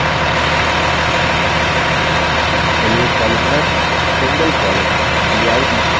चलिए columnar singlecolumn layout list पर click करते हैं